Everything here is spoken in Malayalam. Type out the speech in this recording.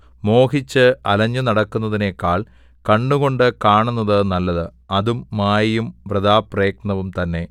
മോഹിച്ച് അലഞ്ഞു നടക്കുന്നതിനെക്കാൾ കണ്ണുകൊണ്ട് കാണുന്നത് നല്ലത് അതും മായയും വൃഥാപ്രയത്നവും തന്നെ